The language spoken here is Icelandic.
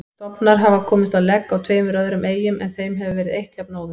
Stofnar hafa komist á legg á tveimur öðrum eyjum en þeim hefur verið eytt jafnóðum.